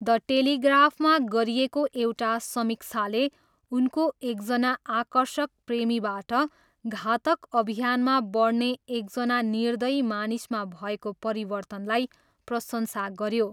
The टेलिग्राफमा गरिएको एउटा समीक्षाले उनको 'एकजना आकर्षक प्रेमीबाट घातक अभियानमा बढ्ने एकजना निर्दयी मानिसमा भएको परिवर्तन'लाई प्रशंसा गऱ्यो।